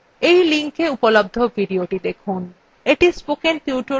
এই linkএ উপলব্ধ videothe দেখুন